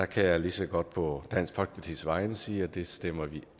kan lige så godt på dansk folkepartis vegne sige at det stemmer vi